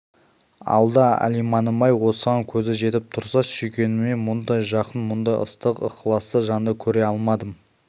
алда алиманым-ай осыған көзі жетіп тұрса да сүйгеніне мұндай жақын мұндай ыстық ықыласты жанды көре алмадым